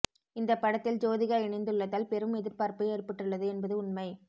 இந்த படத்தில் ஜோதிகா இணைந்துள்ளதால் பெரும் எதிர்பார்ப்பு ஏற்பட்டுள்ளது என்பது உண்மை